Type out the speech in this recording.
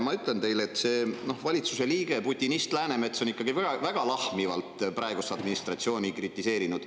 Ma ütlen teile, et valitsuse liige putinist Läänemets on ikkagi väga lahmivalt praegust administratsiooni kritiseerinud.